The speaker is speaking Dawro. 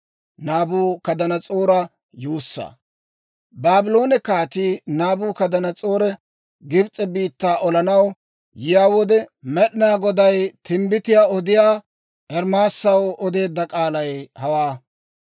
Baabloone Kaatii Naabukadanas'oori Gibs'e biittaa olanaw yiyaa wode, Med'inaa Goday timbbitiyaa odiyaa Ermaasaw odeedda k'aalay hawaa: